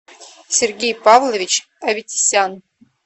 сергей павлович аветисян